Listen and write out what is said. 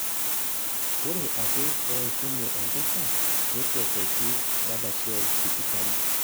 Ore ake peishunye enkesha nekweteki Dadashev sipitali